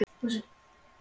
Þórhildur: Þú?